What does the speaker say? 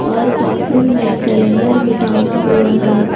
और क्लासरूम में कैलेंडर भी टांगा हुआ है।